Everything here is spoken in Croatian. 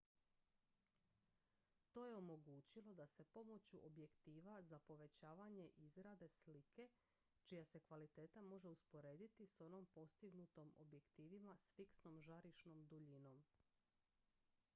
to je omogućilo da se pomoću objektiva za povećavanje izrade slike čija se kvaliteta može usporediti s onom postignutom objektivima s fiksnom žarišnom duljinom